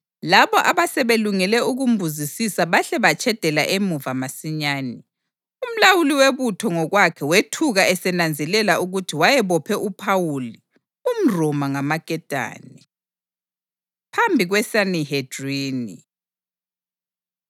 Labo abasebelungele ukumbuzisisa bahle batshedela emuva masinyane. Umlawuli webutho ngokwakhe wethuka esenanzelela ukuthi wayebophe uPhawuli, umRoma, ngamaketane. Phambi KweSanihedrini